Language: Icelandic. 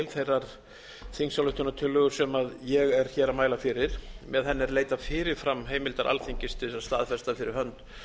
þeirra þingsályktunartillögu sem ég er hér að mæla fyrir með henni er leitað fyrirframheimildar alþingis til þess að staðfesta fyrir hönd